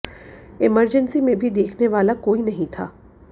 emergency में भी देखने वाला कोई नहीं था